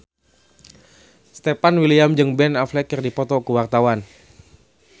Stefan William jeung Ben Affleck keur dipoto ku wartawan